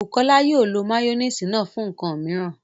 Bukọlá yóò lọ mayonnaise náà fún nkan míìran.